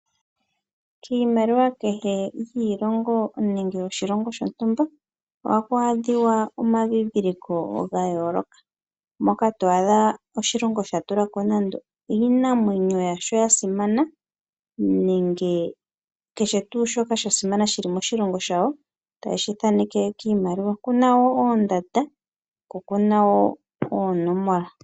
Kiimaliwa kehe yiilongo nenge yoshilongo shontumba ohaku adhika omandhindhiliko gayooloka, moka twaadha oshilongo shatula ko nando iinamwenyo yasho yasimana nenge kehe tuu shoka shasimana shili moshilongo shawo, taye shi thaneke kiimaliwa. Okuna wo oondanda ko okuna wo oonomola.